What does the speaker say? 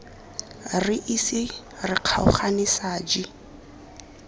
re ise re kgaogane saji